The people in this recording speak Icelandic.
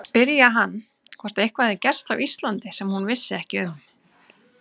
Spyrja hann, hvort eitthvað hefði gerst á Íslandi sem hún vissi ekki um.